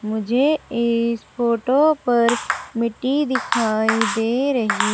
मुझे इस फोटो पर मिट्टी दिखाई दे रही--